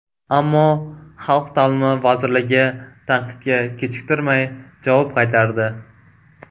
Ammo Xalq ta’limi vazirligi tanqidga kechiktirmay javob qaytardi .